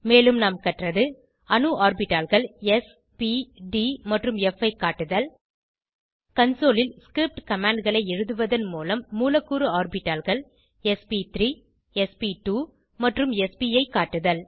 மேலும் நாம் கற்றது அணு ஆர்பிட்டால்கள் ஸ் ப் ட் மற்றும் fஐ காட்டுதல் கன்சோல் ல் ஸ்கிரிப்ட் commandகளை எழுதுவதன் மூலம் மூலக்கூறு ஆர்பிட்டால்கள் ஸ்ப்3 ஸ்ப்2 மற்றும் spஐ காட்டுதல்